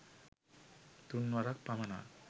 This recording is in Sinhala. තුන් වරක් පමණක්